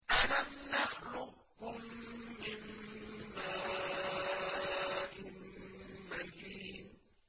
أَلَمْ نَخْلُقكُّم مِّن مَّاءٍ مَّهِينٍ